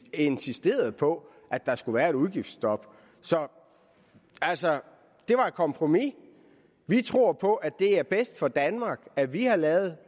insisteret på at der skulle være et udgiftsstop så altså det var et kompromis vi tror på at det er bedst for danmark at vi har lavet